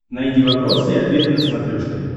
найди вопросы и ответы на смотрешке